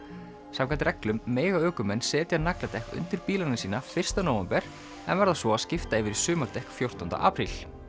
samkvæmt reglum mega ökumenn setja nagladekk undir bílana sína fyrsta nóvember en verða svo að skipta yfir á sumardekk fjórtánda apríl